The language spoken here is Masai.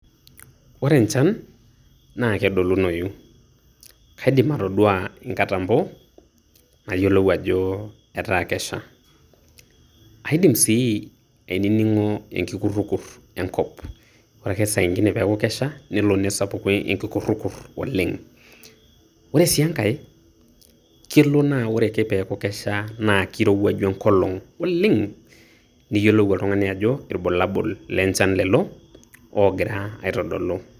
Ore enchan naa kedolunoyu. Kaidim atodua inkatambo, nayiolou ajo etaa kesha. Aidim si ainining'o enkikurrukurr enkop. Ore ake sainkine peeku kesha, nelo nesapuku enkikurrukurr oleng'. Ore si enkae, kelo na ore ake peeku kesha, na kirowuaju enkolong' olleng'. Niyiolou oltung'ani ajo ilbulabul lenchan leo ogira aitodolu.